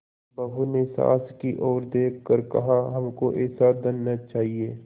बहू ने सास की ओर देख कर कहाहमको ऐसा धन न चाहिए